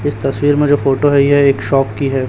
इस तस्वीर में जो फोटो है यह एक शॉप की है।